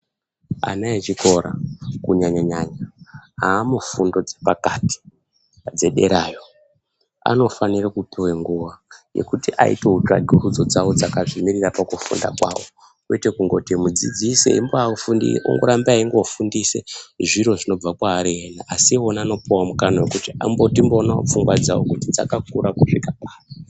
Ana echikora kunyanyanyanya amufundo dzepakati dzederayo anofanire kupuwe nguwa yekuti aitewo tsvagurudzo dzawo dzakazvimirira pakufunda kwawo kwete kungoti mudzidzisi eimbafundire kumbafundise zviro zvinobva kwaari ena asi iwo anopuwawo mukana wekuti timboonawo pfungwa dzawo kuti dzakakura kusvika papi.